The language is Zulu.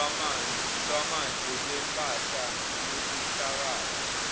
lwamanje lwempahla yobuhlakani